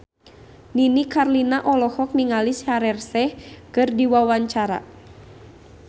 Nini Carlina olohok ningali Shaheer Sheikh keur diwawancara